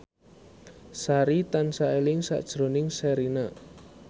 Sari tansah eling sakjroning Sherina